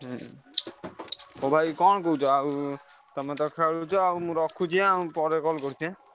ହୁଁ ହଉ ଭାଇ କଣ କହୁଛ ଆଉ ତମେ ତ ଖେଳୁଛ ଆଉ ମୁଁ ରଖୁଛି ପରେ call କରୁଛି ଆଁ।